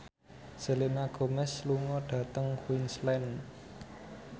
Selena Gomez lunga dhateng Queensland